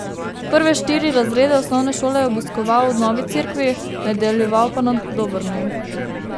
Prve štiri razrede osnovne šole je obiskoval v Novi Cerkvi, nadaljeval pa na Dobrni.